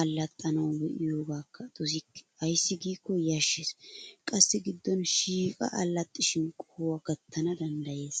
allaxxanawu be'iyoogaa dosikke ayssi giikko yashshes qassi giddon shiiqi allaxxishin qohuwa gattana danddayes.